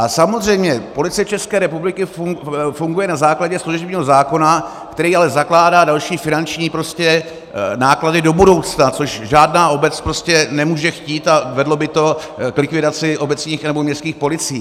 A samozřejmě Policie České republiky funguje na základě služebního zákona, který ale zakládá další finanční náklady do budoucna, což žádná obec nemůže chtít, a vedlo by to k likvidaci obecních nebo městských policií.